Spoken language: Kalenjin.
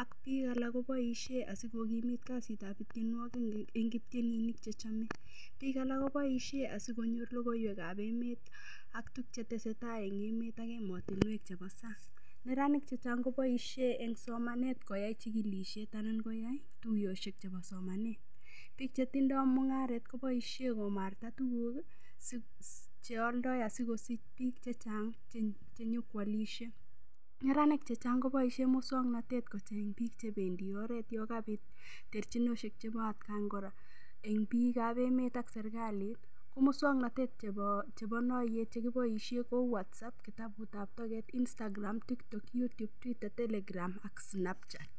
ak biik alak koboishe asikokimit kasitab tyenwokik eng' kiptyeninik chechomei biik alak koboishe asikonyor lokoiwekab emet ak tukcheteseitai eng' emet ak emotinwek chebo sang' neranik chechang' koboishe eng' somanet koyai chikilishet anan koyai tuyoshek chebo somanet biik chetindoi mung'aret koboishe komarta tuguk cheoldoi asikosich biik chechang' chenyikwalishei neranik chechang' koboishe muswang'natet kocheny biik chebendi oret yo kabit terchinoshek chebo atkan kora eng' biikab emet ak serikalit muswang'natet chebo noiyeet chekiboishe kou Whatsapp kitabutab toket Instagram TikTok YouTube telegram ak Snapchat